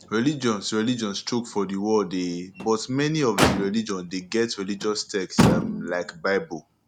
religions religions choke for di world um but many of di religion de get religous text um like bible